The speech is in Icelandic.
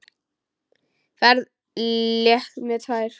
Ferð létt með tvær.